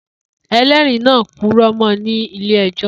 Elẹ́ẹ̀rí náà purọ́ mọ́ ọ ní ilé ẹjọ́